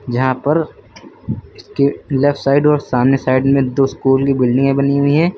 यहां पर इसके लेफ्ट साइड और सामने साइड में दो स्कूल की बिल्डिंगे बनी हुई हैं।